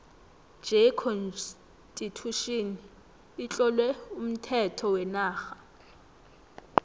j constitution itlowe umthetho wenarha